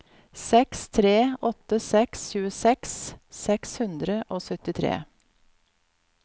seks tre åtte seks tjueseks seks hundre og syttitre